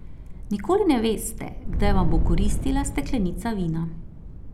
Nikoli ne veste, kdaj vam bo koristila steklenica vina.